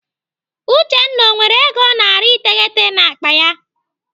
Uchenna ọ nwere ego narị iteghete n'akpa ya?